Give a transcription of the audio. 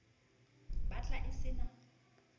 bat la e se na